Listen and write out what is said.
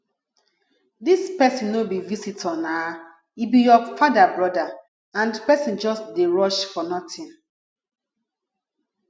dis person no be visitor naa e be your father broda and person just dey rush for nothing